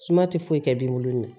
Suma tɛ foyi kɛ binkolon na